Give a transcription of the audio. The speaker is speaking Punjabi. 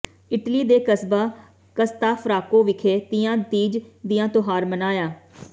ਇਟਲੀ ਦੇ ਕਸਬਾ ਕਸਤਫਰਾਕੋ ਵਿਖੇ ਤੀਆਂ ਤੀਜ ਦੀਆਂ ਤਿਉਹਾਰ ਮਨਾਇਆ